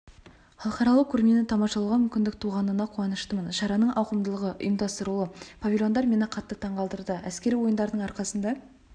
халықаралық көрмені тамашалауға мүмкіндік туғанына қуаныштымын шараның ауқымдылығы ұйымдастырылуы павильондар мені қатты таңқалдырды әскери ойындардың арқасында